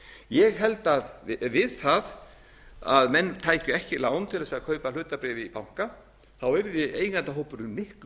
ég held að við það að menn tækju ekki lán til að kaupa hlutabréf í banka yrði eigendahópurinn miklu